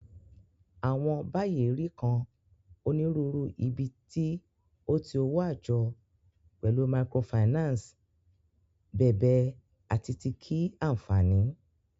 Awọn bayi ri kan Oniruuru ibiti o ti owo ajo, pẹlu microfinance bèbe ati ti kii-anfani.